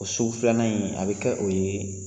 Sugu filanan in a bɛ kɛ o ye